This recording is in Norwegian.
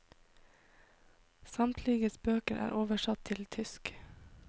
Samtliges bøker er oversatt til tysk.